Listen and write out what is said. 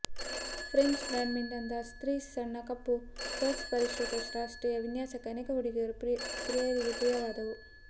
French ಬ್ರಾಂಡ್ನಿಂದ ಸ್ತ್ರೀ ಸಣ್ಣ ಕಪ್ಪು ಪರ್ಸ್ ಪರಿಷ್ಕೃತ ಶಾಸ್ತ್ರೀಯ ವಿನ್ಯಾಸಕ್ಕೆ ಅನೇಕ ಹುಡುಗಿಯರ ಪ್ರಿಯರಿಗೆ ಪ್ರಿಯವಾದವು